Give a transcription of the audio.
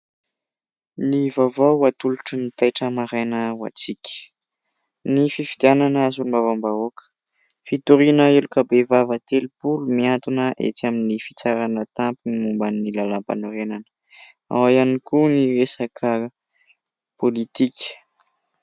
Ny vaovao ho atolotry ny " Taitra Maraina " ho antsika " Ny fifidianana solombavam-bahoaka, fitoriana heloka be vava telopolo mihantona ety amin'ny fitsarana tampony momban'ny lalàm-panorenana " ao ihany koa ny resaka politika.